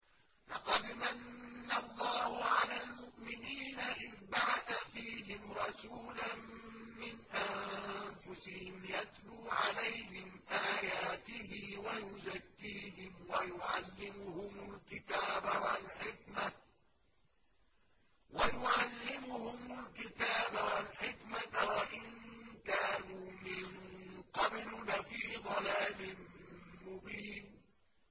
لَقَدْ مَنَّ اللَّهُ عَلَى الْمُؤْمِنِينَ إِذْ بَعَثَ فِيهِمْ رَسُولًا مِّنْ أَنفُسِهِمْ يَتْلُو عَلَيْهِمْ آيَاتِهِ وَيُزَكِّيهِمْ وَيُعَلِّمُهُمُ الْكِتَابَ وَالْحِكْمَةَ وَإِن كَانُوا مِن قَبْلُ لَفِي ضَلَالٍ مُّبِينٍ